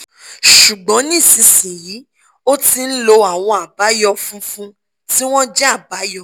ṣùgbọ́n nísinsìnyí o ti ń lo àwọn àbáyọ́ funfun tí wọ́n jẹ́ àbáyọ́